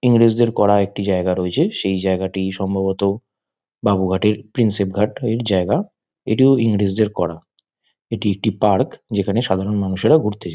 ইংরেজদের করা একটি জায়গা রয়েছে সেই জায়গাটি সম্ভবত বাবু ঘাটের প্রিন্সেপ ঘাট এর জায়গা এটিও ইংরেজদের করা। এটি একটি পার্ক যেখানে সাধারন মানুষেরা ঘুরতে যায়।